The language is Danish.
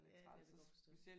Ja det kan jeg godt forstå